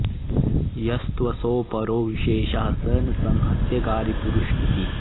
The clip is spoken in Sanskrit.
यस्त्वसौ परो विशेषः स न संहत्यकारी पुरुष इति